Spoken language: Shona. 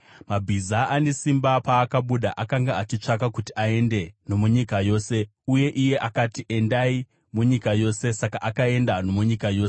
Mabhiza ane simba paakabuda akanga achitsvaka kuti aende nomunyika yose. Uye iye akati, “Endai munyika yose!” Saka akaenda nomunyika yose.